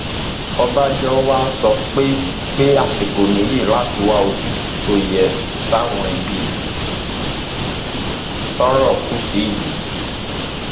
ọbànjọ wàá sọ pé pé àsìkò nìyí láti wá ojúùtú tó yẹ sáwọn ibi tọrọ kù sí yìí